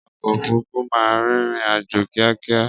Ọkọ òfúrufú máa ń rìnrìn-àjò kíákíá.